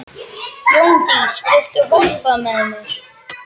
Jóndís, viltu hoppa með mér?